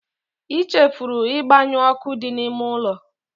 I chefuru ịgbanyụ ọkụ dị n'ime ụlọ